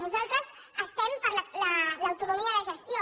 nosaltres estem per l’autonomia de gestió